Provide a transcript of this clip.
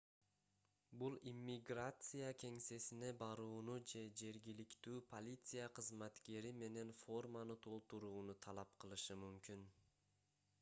бул иммиграция кеңсесине барууну же жергиликтүү полиция кызматкери менен форманы толтурууну талап кылышы мүмкүн